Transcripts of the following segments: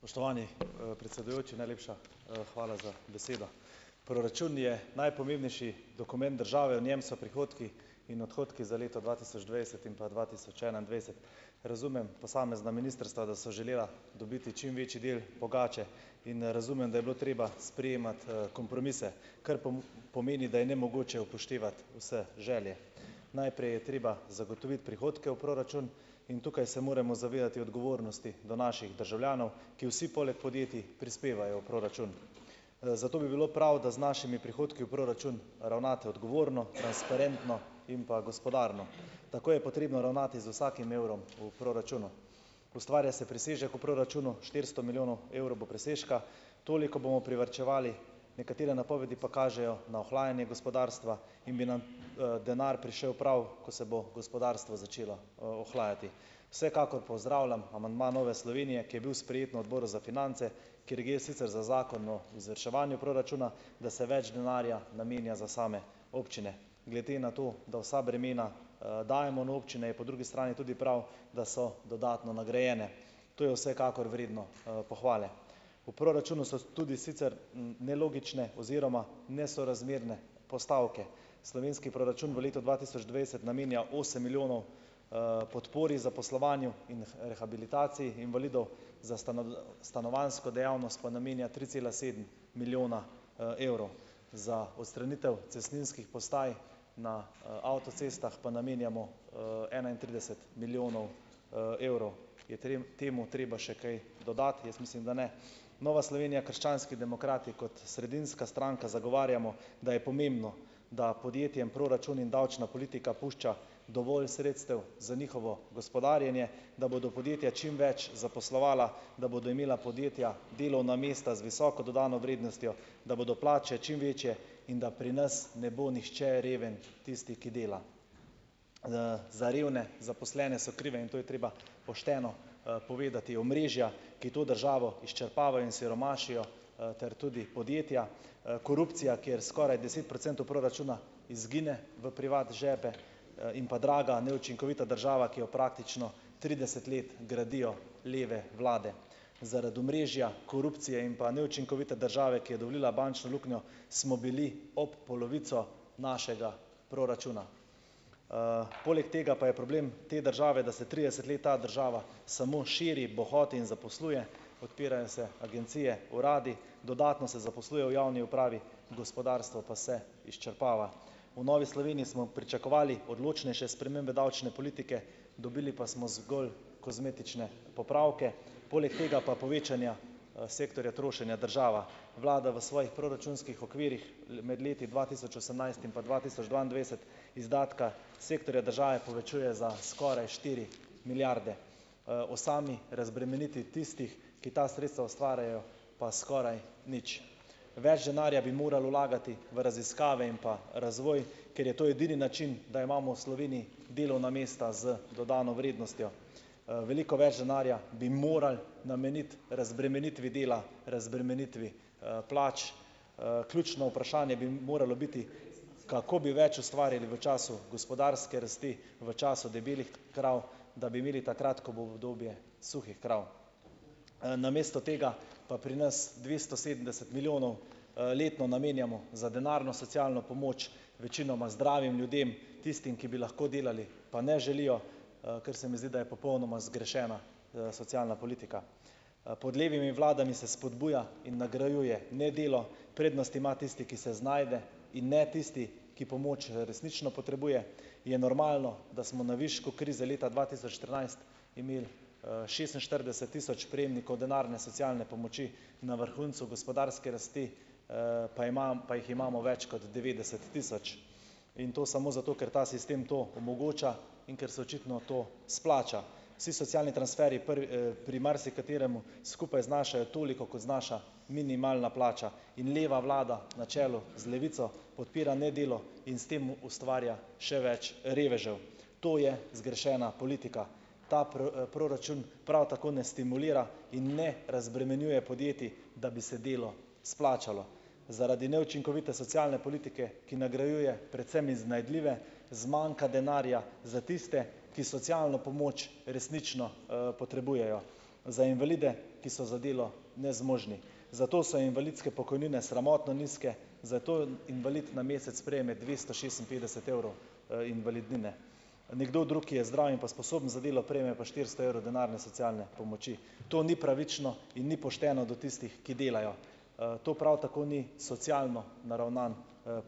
Spoštovani, predsedujoči, najlepša, hvala za besedo. Proračun je najpomembnejši dokument države. V njem so prihodki in odhodki za leto dva tisoč dvajset in pa dva tisoč enaindvajset. Razumem posamezna ministrstva, da so želela dobiti čim večji del pogače, in razumem, da je bilo treba sprejemati, kompromise, kar pomeni, da je nemogoče upoštevati vse želje. Najprej je treba zagotoviti prihodke v proračun in tukaj se moremo zavedati odgovornosti do naših državljanov, ki vsi poleg podjetij prispevajo v proračun. Zato bi bilo prav, da z našimi prihodki v proračun ravnate odgovorno, transparentno in pa gospodarno. Tako je potrebno ravnati z vsakim evrom v proračunu. Ustvarja se presežek v proračunu, štiristo milijonov evrov bo presežka. Toliko bomo privarčevali, nekatere napovedi pa kažejo na ohlajanje gospodarstva in bi nam, denar prišel prav, ko se bo gospodarstvo začelo, ohlajati. Vsekakor pozdravljam amandma Nove Slovenije, ki je bil sprejet na odboru za finance, kjer gre sicer za zakon o izvrševanju proračuna, da se več denarja namenja za same občine. Glede na to, da vsa bremena, dajemo na občine, je po drugi strani tudi prav, da so dodatno nagrajene. To je vsekakor vredno, pohvale. V proračunu so tudi sicer, nelogične oziroma nesorazmerne postavke. Slovenski proračun v letu dva tisoč dvajset namenja osem milijonov, podpori, zaposlovanju in rehabilitaciji invalidov, za stanovanjsko dejavnost pa namenja tri cela sedem milijona, evrov, za odstranitev cestninskih postaj na, avtocestah pa namenjamo, enaintrideset milijonov, evrov. Je temu treba še kaj dodati? Jaz mislim, da ne. Nova Slovenija - krščanski demokrati kot sredinska stranka zagovarjamo, da je pomembno, da podjetjem proračun in davčna politika pušča dovolj sredstev za njihovo gospodarjenje, da bodo podjetja čim več zaposlovala, da bodo imela podjetja delovna mesta z visoko dodano vrednostjo, da bodo plače čim večje in da pri nas ne bo nihče reven tisti, ki dela. Za revne zaposlene so krive, in to je treba pošteno, povedati, omrežja, ki to državo izčrpavajo in siromašijo, ter tudi podjetja, korupcija, kjer skoraj deset procentov proračuna izgine v privat žepe, in pa draga, neučinkovita država, ki jo praktično trideset let gradijo leve vlade. Zaradi omrežja, korupcije in pa neučinkovite države, ki je dovolila bančno luknjo, smo bili ob polovico našega proračuna. Poleg tega pa je problem te države, da se trideset let ta država samo širi, bohoti in zaposluje, odpirajo se agencije, uradi, dodatno se zaposluje v javni upravi, gospodarstvo pa se izčrpava. V Novi Sloveniji smo pričakovali odločnejše spremembe davčne politike, dobili pa smo zgolj kozmetične popravke. Poleg tega pa povečanja, sektorja trošenja država vlada v svojih proračunskih okvirjih, med leti dva tisoč osemnajst in pa dva tisoč dvaindevetdeset, izdatka sektorja države povečuje za skoraj štiri milijarde. O sami razbremenitvi tistih, ki ta sredstva ustvarjajo, pa skoraj nič. Več denarja bi morali vlagati v raziskave in pa razvoj, ker je to edini način, da imamo v Sloveniji delovna mesta z dodano vrednostjo. Veliko več denarja bi morali nameniti razbremenitvi dela, razbremenitvi, plač, ključno vprašanje bi moralo biti, kako bi več ustvarili v času gospodarske rasti, v času debelih krav, da bi imeli takrat, ko bo obdobje suhih krav. Namesto tega pa pri nas dvesto sedemdeset milijonov, letno namenjamo za denarno socialno pomoč, večinoma zdravim ljudem, tistim, ki bi lahko delali pa ne želijo, kar se mi zdi, da je popolnoma zgrešena, socialna politika. Pod levimi vladami se spodbuja in nagrajuje nedelo, prednost ima tisti, ki se znajde, in ne tisti, ki pomoč resnično potrebuje. Je normalno, da smo na višku krize leta dva tisoč štirinajst imeli, šestinštirideset tisoč prejemnikov denarne socialne pomoči, na vrhuncu gospodarske rasti, pa jih imamo več kot devetdeset tisoč, in to samo zato, ker ta sistem to omogoča in ker se očitno to izplača. Vsi socialni transferji pri marsikaterem skupaj znašajo toliko, kot znaša minimalna plača. In leva vlada na čelu z Levico podpira nedelo in s tem ustvarja še več revežev. To je zgrešena politika. Ta proračun prav tako ne stimulira in ne razbremenjuje podjetij, da bi se delo izplačalo. Zaradi neučinkovite socialne politike, ki nagrajuje predvsem iznajdljive, zmanjka denarja za tiste, ki socialno pomoč resnično, potrebujejo, za invalide, ki so za delo nezmožni. Zato so invalidske pokojnine sramotno nizke, zato invalid na mesec prejme dvesto šestinpetdeset evrov, invalidnine. Nekdo drug, ki je zdrav in pa sposoben za delo, prejme pa štiristo evrov denarne socialne pomoči. To ni pravično in ni pošteno do tistih, ki delajo. To prav tako ni socialno naravnan,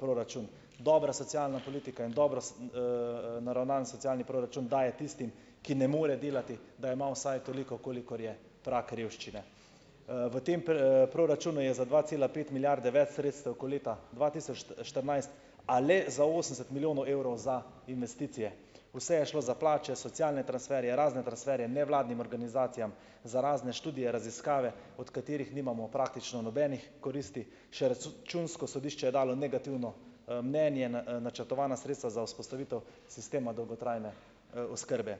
proračun, dobra socialna politika in dobro naravnan socialni proračun daje tistim, ki ne more delati, da ima vsaj toliko, kolikor je prag revščine. V tem proračunu je za dva cela pet milijarde več sredstev, ko leta dva tisoč štirinajst, a le za osemdeset milijonov evrov za investicije. Vse je šlo za plače, socialne transferje, razne transferje, nevladnim organizacijam, za razne študije, raziskave, od katerih nimamo praktično nobenih koristi. Še računsko sodišče je dalo negativno, mnenje, načrtovana sredstva za vzpostavitev sistema dolgotrajne, oskrbe.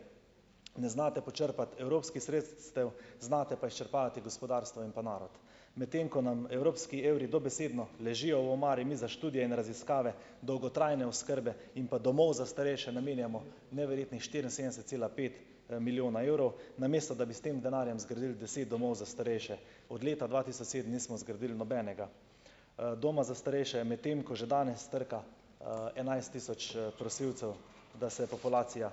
Ne znate počrpati evropskih sredstev, znate pa izčrpavati gospodarstvo in pa narod. Medtem ko nam evropski evri dobesedno ležijo v omari, mi za študije in raziskave dolgotrajne oskrbe in pa domov za starejše namenjamo neverjetnih štiriinsedemdeset cela pet, milijona evrov, namesto da bi s tem denarjem zgradili deset domov za starejše. Od leta dva tisoč sedem nismo zgradili nobenega, doma za starejše, medtem ko že danes trka, enajst tisoč, prosilcev, da se populacija,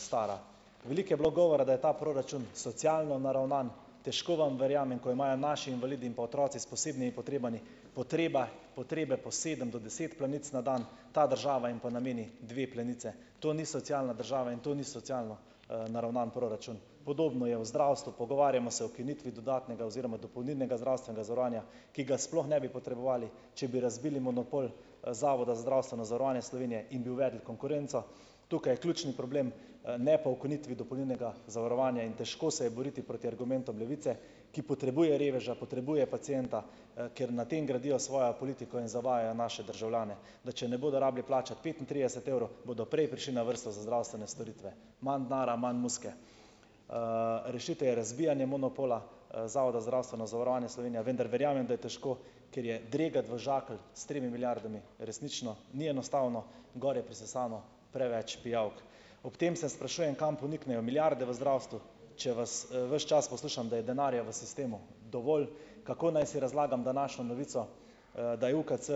stara. Veliko je bilo govora, da je ta proračun socialno naravnan. Težko vam verjamem, ko imajo naši invalidi in pa otroci s posebnimi potrebami, potreba, potrebe po sedem do deset plenic na dan, ta država pa jim nameni dve plenici. To ni socialna država in to ni socialno, naravnan proračun. Podobno je v zdravstvu, pogovarjamo se o ukinitvi dodatnega oziroma dopolnilnega zdravstvenega zavarovanja, ki ga sploh ne bi potrebovali, če bi razbili monopol, Zavoda za zdravstveno zavarovanje Slovenije in bi uvedli konkurenco. Tukaj je ključni problem, ne pa v ukinitvi dopolnilnega zavarovanja, in težko se je boriti proti argumentom Levice, ki potrebuje reveža, potrebuje pacienta, ker na tem gradijo svojo politiko in zavajajo naše državljane, da če ne bodo rabili plačati petintrideset evrov, bodo prej prišli na vrsto za zdravstvene storitve. Manj denarja, manj muzike. Rešitev je razbijanje monopola, Zavoda za zdravstveno zavarovanje Slovenije, vendar verjamem, da je težko, ker je dregati v žakelj s tremi milijardami resnično ni enostavno. Gor je prisesano preveč pijavk. Ob tem se sprašujem, kam poniknejo milijarde v zdravstvu, če vas, ves čas poslušam, da je denarja v sistemu dovolj, kako naj si razlagam današnjo novico, da je UKC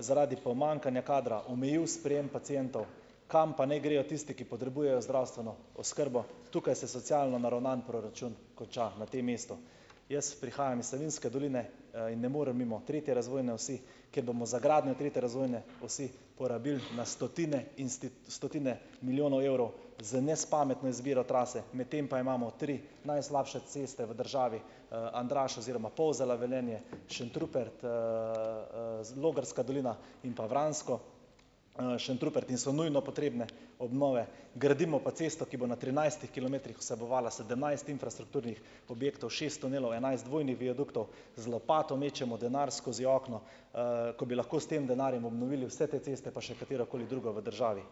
zaradi pomanjkanja kadra omejil sprejem pacientov. Kam pa naj grejo tisti, ki potrebujejo zdravstveno oskrbo? Tukaj se socialno naravnan proračun konča na tem mestu. Jaz prihajam iz Savinjske doline, in ne morem mimo tretje razvojne osi, kjer bomo za gradnjo tretje razvojne osi porabili na stotine in stotine milijonov evrov z nespametno izbiro trase, medtem pa imamo tri najslabše ceste v državi, Andraž oziroma Polzela-Velenje, Šentrupert, Logarska dolina in pa Vransko. Šentrupert in so nujno potrebne obnove, gradimo pa cesto, ki bo na trinajstih kilometrih vsebovala sedemnajst infrastrukturnih objektov, šest tunelov, enajst dvojnih viaduktov, z lopato mečemo denar skozi okno, ko bi lahko s tem denarjem obnovili vse te ceste pa še katero koli drugo v državi.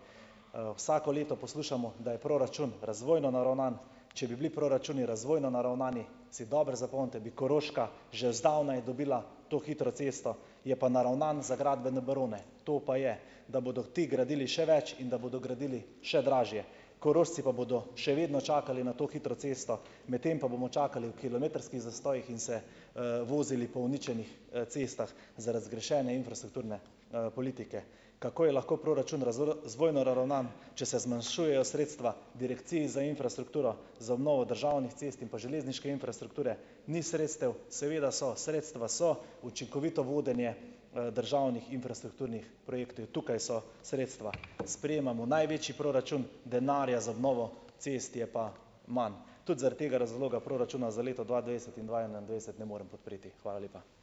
Vsako leto poslušamo, da je proračun razvojno naravnan, če bi bili proračuni razvojno naravnani, si dobro zapomnite, bi Koroška že zdavnaj dobila to hitro cesto, je pa naravnan za gradbene barone. To pa je, da bodo ti gradili še več in da bodo gradili še dražje. Korošci pa bodo še vedno čakali na to hitro cesto, medtem pa bomo čakali v kilometrskih zastojih in se, vozili po uničenih, cestah zaradi zgrešene infrastrukturne, politike. Kako je lahko proračun razvojno naravnan, če se zmanjšujejo sredstva direkciji za infrastrukturo, za obnovo državnih cest in pa železniške infrastrukture ni sredstev, seveda so, sredstva so, učinkovito vodenje, državnih infrastrukturnih projektov je, tukaj so sredstva. Sprejemamo največji proračun, denarja za obnovo cest je pa manj. Tudi zaradi tega razloga proračuna za leto dva dvajset in dva enaindvajset ne morem podpreti. Hvala lepa.